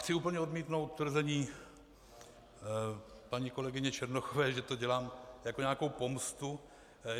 Chci úplně odmítnout tvrzení paní kolegyně Černochové, že to dělám jako nějakou pomstu.